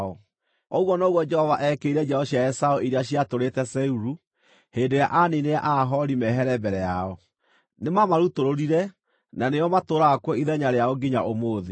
Ũguo noguo Jehova eekĩire njiaro cia Esaũ arĩa maatũũrĩte Seiru, hĩndĩ ĩrĩa aaniinire Aahori mehere mbere yao. Nĩmamarutũrũrire, na nĩo matũũraga kuo ithenya rĩao nginya ũmũthĩ.